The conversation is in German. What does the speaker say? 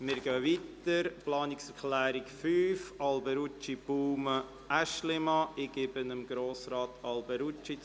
Wir kommen zur Planungserklärung 5. Autobahnanschlüsse in Innenstadtbereichen widersprechen der vom Kanton angestrebten Siedlungs- und Verkehrsentwicklung.